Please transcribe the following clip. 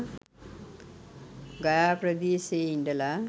ගයා ප්‍රදේශයේ ඉඳලා